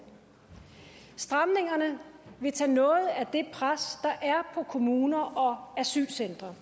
stramningerne vil tage noget af det pres der er på kommuner og asylcentre